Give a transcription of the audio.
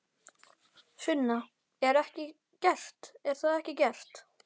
Sunna: Er ekki gert, eða er það ekki gert?